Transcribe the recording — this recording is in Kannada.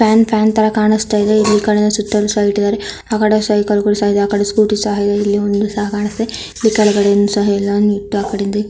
ಫ್ಯಾನ್ ಫ್ಯಾನ್ ತಾರಾ ಕಾಣಿಸ್ತಾಯಿದೆ ಆಕಡೆ ಸೈಕಲ್ ಗಳು ಇವೆ ಆಕಡೆ ಸ್ಕೂಟಿಗಳು ಸಹ ಇವೆ